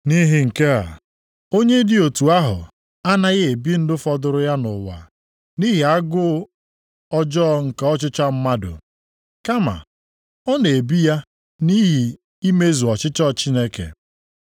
Nʼihi nke a, onye dị otu ahụ anaghị ebi ndụ fọdụrụ ya nʼụwa nʼihi agụụ ọjọọ nke ọchịchọ mmadụ, kama ọ na-ebi ya nʼihi imezu ọchịchọ Chineke.